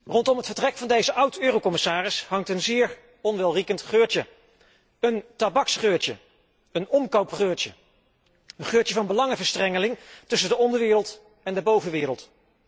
Rondom het vertrek van deze oud commissaris hangt een zeer onwelriekend geurtje, een tabaksgeurtje, een omkoopgeurtje. Een geurtje van belangenverstrengeling tussen de onderwereld en de bovenwereld.